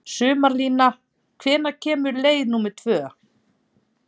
Sumarlína, hvenær kemur leið númer tvö?